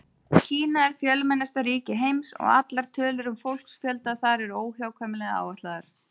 Kína er fjölmennasta ríki heims og allar tölur um fólksfjölda þar eru óhjákvæmilega áætlaðar.